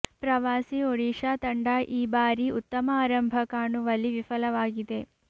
ಪ್ರವಾಸಿ ಒಡಿಶಾ ತಂಡ ಈ ಬಾರಿ ಉತ್ತಮ ಆರಂಭ ಕಾಣುವಲ್ಲಿ ವಿಫಲವಾಗಿದೆ